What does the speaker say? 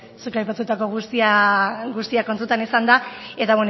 zuk aipatutako guztia kontutan izanda eta